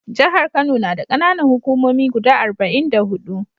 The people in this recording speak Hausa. Jahar Kano na da ƙananan hukumomi guda arba'in da huɗu.